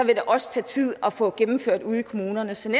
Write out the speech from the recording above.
det også tage tid at få gennemført ude i kommunerne så i